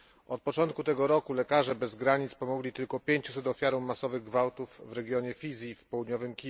Od początku tego roku Lekarze bez Granic pomogli tylko 500 ofiarom masowych gwałtów w regionie Fizi, w Kiwu Południowym.